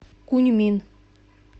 куньмин